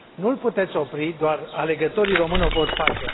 Nu îl puteți opri, doar alegătorii români o pot face.